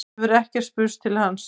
Síðan hefur ekki spurst til hans